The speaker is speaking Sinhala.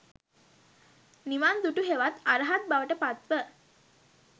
නිවන් දුටු හෙවත් අරහත් බවට පත්ව